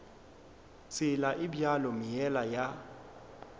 tsela e bjalo meela ya